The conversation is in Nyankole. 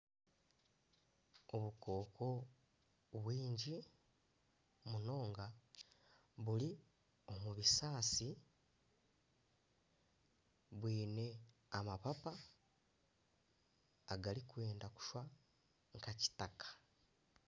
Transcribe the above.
Obukooko bwingi munonga buri omu bisaasi bwine amapapa agarikwenda kushusha nka kitaka.